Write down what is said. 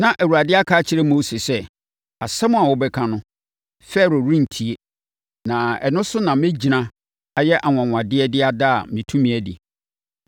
Na Awurade aka akyerɛ Mose sɛ, “Asɛm a wobɛka no, Farao rentie. Na ɛno so na mɛgyina ayɛ anwanwadeɛ de ada me tumi adi.”